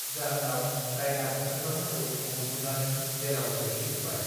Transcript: जाहोनाव दायना बुथारग्राफोरखौ हमग्लुंनानै जेलआव सोहै जोब्बाय